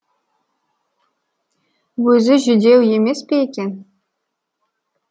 өзі жүдеу емес пе екен